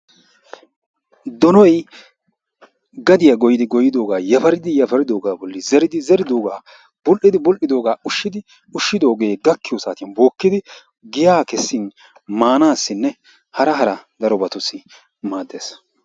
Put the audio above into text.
Donoy gadiyaa goyyidi goyidoogaa yafaridi yafaridoogaa bolli zeridi zeridoogaa bul'idi bul'idoogaa ushshidi ushshidooge gakkiyoo saatiyani bookkidi giyaa kessin maanassinne hara hara darobatussi maades.